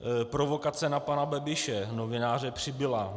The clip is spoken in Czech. Provokace na pana Babiše, novináře Přibila.